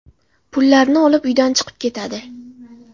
Pullarni olib uydan chiqib ketadi.